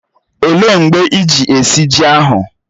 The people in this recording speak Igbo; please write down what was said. Ọ léé mgbe iji esi ji ahụ?